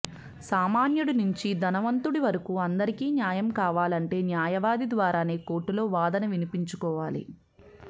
సామాన్యుడి నుంచి ధనంవంతుడి వరకు అందరికీ న్యాయం కావాలంటే న్యాయవాది ద్వారానే కోర్టులో వాదన వినిపించుకోవాలి